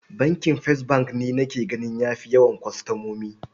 Bankin First bank ne nake gani ya fi yawan kwastomomi.